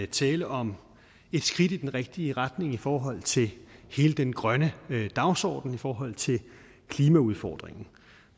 tale om et skridt i den rigtige retning i forhold til hele den grønne dagsorden og i forhold til klimaudfordringen